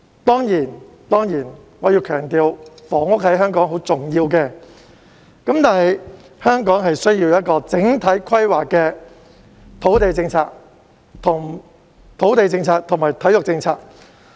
當然，我要強調，房屋在香港很重要，香港需要整體規劃的土地政策及體育政策。